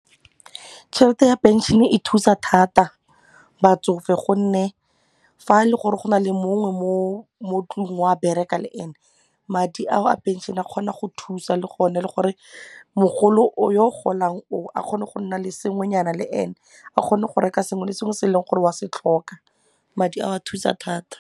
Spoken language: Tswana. Tšhelete ya pension-e e thusa thata batsofe gonne fa e le gore go na le mongwe mo tlung wa bereka le ene, madi ao a pension-e a kgona go thusa le gona le gore mogolo yo golang oo a kgone go nna le sengwenyana le ene a kgone go reka sengwe le sengwe se e leng gore wa se tlhoka madi a thusa thata.